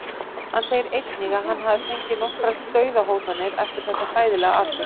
Hann segir einnig að hann hafi fengið nokkrar Dauðahótanir eftir þetta hræðilega atvik.